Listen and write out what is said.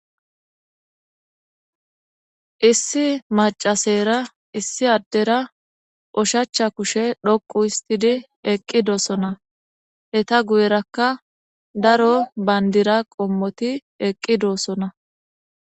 issi macasera issi addera oshacha kushe dhoqu histidi eqqi doosona heta guyerakka daro bayndira qommoti eqqi doosona